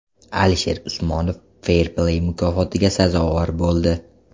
Alisher Usmonov Fair Play mukofotiga sazovor bo‘ldi.